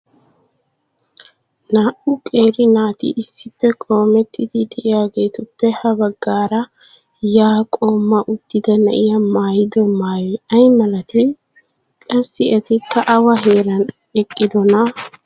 naa"u qeeri naati issippe qoomettidi diyaageetuppe ha bagaara yaa qooma uttida na'iya maayido maayoy ay malatii? qassi etikka awa heeran eqqidonaa?